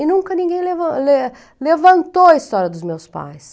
E nunca ninguém levan le levantou a história dos meus pais.